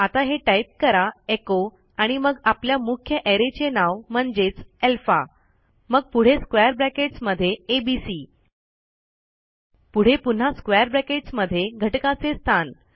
आता हे टाईप करा echoआणि मग आपल्या मुख्य arrayचे नाव म्हणजेचalpha मग पुढे स्क्वेअर ब्रॅकेट्स मध्ये एबीसी पुढे पुन्हा स्क्वेअर ब्रॅकेट्स मध्ये घटकाचे स्थान